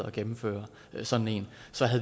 at gennemføre sådan en